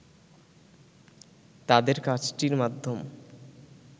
তাদের কাজটির মাধ্যম